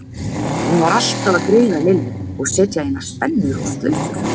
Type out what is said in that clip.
Hún var alltaf að greiða Lillu og setja í hana spennur og slaufur.